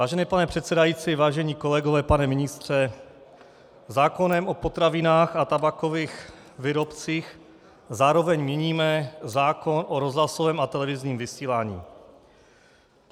Vážený pane předsedající, vážení kolegové, pane ministře, zákonem o potravinách a tabákových výrobcích zároveň měníme zákon o rozhlasovém a televizním vysílání.